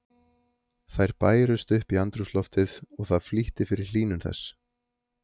Þær bærust upp í andrúmsloftið og það flýtti fyrir hlýnun þess.